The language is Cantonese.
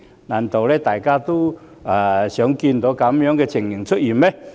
難道大家想看到這情況嗎？